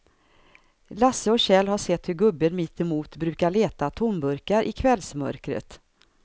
Lasse och Kjell har sett hur gubben mittemot brukar leta tomburkar i kvällsmörkret.